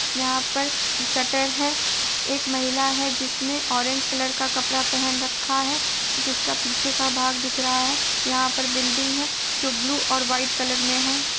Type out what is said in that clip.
यहाँ पर शटर है| एक महिला है जिसने ऑरेंज कलर का कपड़ा पहन रखा है जिसका पीछे का भाग दिख रहा है| यहाँ पर बिल्डिंग है जो ब्लू और व्हाइट कलर में है।